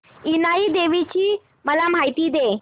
इनाई देवीची मला माहिती दे